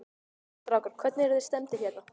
Strákar, hvernig, eruð þið stemmdir hérna?